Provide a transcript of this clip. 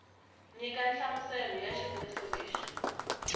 nyika nhlamuselo ya xivuriso lexi